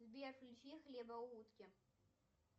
сбер включи хлебоутки